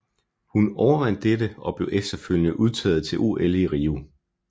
Hun overvandt dette og blev efterfølgende udtaget til OL i Rio